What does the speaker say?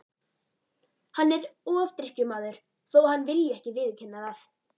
Hann er ofdrykkjumaður þó að hann vilji ekki viðurkenna það.